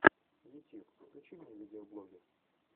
ютьюб включи мне видеоблоги